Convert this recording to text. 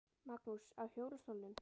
Magnús: Á hjólastólnum?